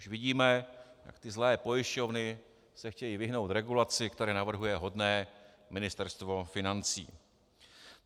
- Už vidíme, jak ty zlé pojišťovny se chtějí vyhnout regulaci, kterou navrhuje hodné Ministerstvo financí.